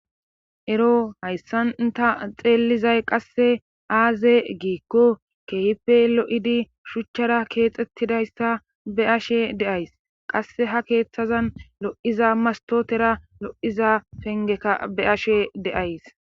ero hayssan ta xeellizay qasse aaze giikko keehippe lo7idi shuchara keexettidayssa be7ashe de7ays;qassi ha keetazan lo7iza masttotera lo7iza penggeka be7ashe de7ays.